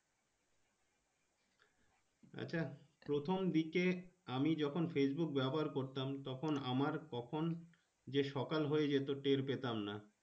আচ্ছা প্রথম দিকে আমি যখন Facebook ব্যবহার করতাম তখন আমার কখন যে সকাল হয়ে যেত টের পেতাম না।